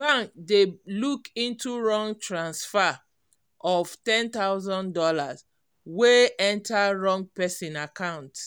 bank dey look into wrong transfer of one thousand dollars0 wey enter wrong person account